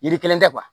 Yiri kelen tɛ